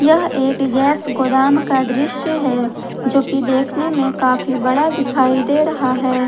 यह एक गैस गोदाम का दृश्य है जो की देखने में काफी बड़ा दिखाई दे रहा है।